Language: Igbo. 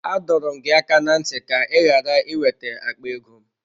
Adọrọ m gị aka na ntị ka ka ị ghara ị wete akpa ego m.